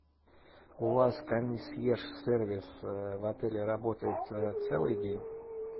у вас консьерж сервис в отеле работает целый день